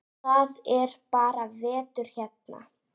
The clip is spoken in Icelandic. Það er bara vetur hérna.